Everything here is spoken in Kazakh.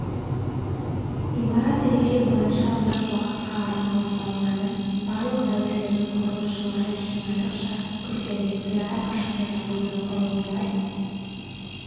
имарат ереже бойынша ұзақ уақытқа арналып салынады барлық дәуірлердің құрылысшылары үшін айрықша күрделілікті әрқашанда жабуды құрылымдар